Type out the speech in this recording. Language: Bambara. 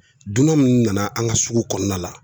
Dunan minnu nana an ka sugu kɔnɔna la